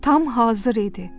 Tam hazır idi.